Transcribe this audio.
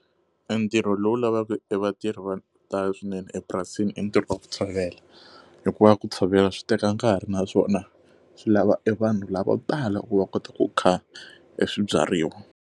E ntirho lowu lavaka e vatirhi va ku tala swinene epurasini i ntirho wa ku tshovela, hikuva ku tshovela swi teka nkarhi naswona swi lava e vanhu lavo tala ku va kota ku kha e swibyariwa.